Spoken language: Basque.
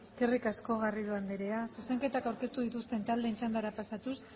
eskerrik asko garrido andrea zuzenketak aurkeztu dituzten taldeen txandara pasatuz